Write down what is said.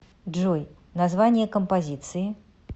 джой название композиции